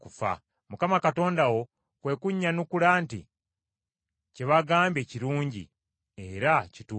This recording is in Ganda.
Mukama Katonda kwe kunnyanukula nti, “Kye bagambye kirungi era kituufu.